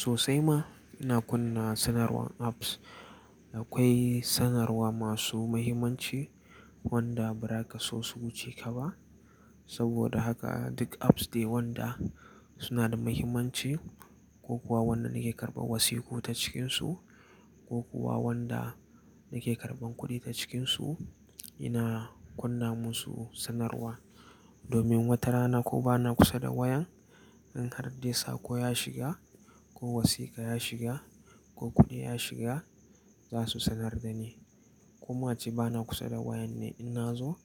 Sosai ma ina kunna sanarwan apps. Akwai sanarwa masu mahimmanci wanda ba raka so su wuce ka ba. Saboda haka duk apps da wanda suna da mahimmanci ko kuwa wanda nake karɓan wasiku ta cikinsu ko kuwa wanda nake karɓan kuɗi ta cikinsu, ina kunna musu sanarwa. Domin watarana ko bana kusa da wayan, in har dai saƙo ya shiga ko wasiƙa ya shiga ko kuɗi ya shiga, za su sanar da ni. Ko ma a ce bana kusa da wayan ne, in na zo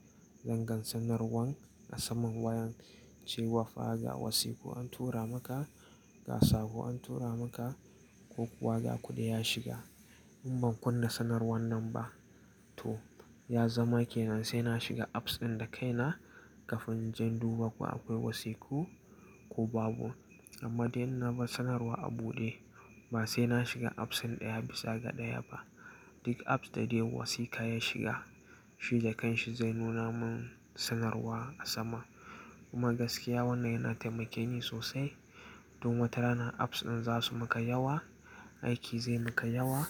zan gan sanarwan a saman wayan cewa fa ga wasiku an tura maka, ga saƙo an tura maka ko kuwa ga kuɗi ya shiga. In ban kunna sanarwan nan ba to ya zama kenan sai na shiga apps ɗin da kai na kafin zan duba ko akwai wasiku ko babu. Amma dai in na bar sanarwa a buɗe, ba sai na shiga apps ɗin ɗaya bisa ga ɗaya ba. Duk apps da dai wasiƙa ya shiga, shi da kanshi zai nuna mun sanarwa a sama. Kuma gaskiya wannan yana taimake ni sosai. Domin watarana apps ɗin za su muka yawa, aiki zai muka yawa.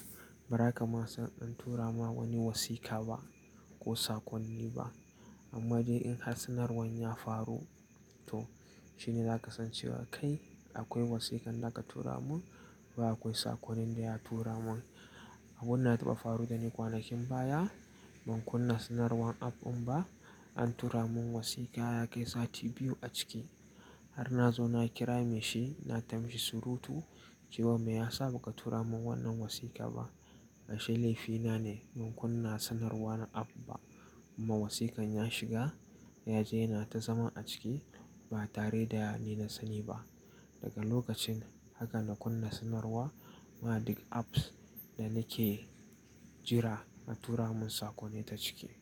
Bara ka ma zan tura ma wani wasiƙa ba ko saƙonni ba. Amma dai in har sanarwan ya faru to shine za ka san cewa kai akwai wasiƙan da aka tura mun, ba akwai saƙonin da ya tura mun. Abun na taɓa faru da ni kwanakin baya, ban kunna sanarwan app ɗin ba, an tura mun wasiƙa ya kai sati biyu a ciki. Har na zo na kira mai shi, na ta mishi surutu cewa me ya sa ba ka tura mun wannan wasiƙa ba? Ya ce laifina ne ban kunna sanarwa na app ba. Amma wasiƙan ya shiga, ya je yana ta zama a ciki ba tare da ni na sani ba. Daga lokacin haka na kunna sanarwa ma duk apps da nake jira na tura mun saƙo ne ta ciki.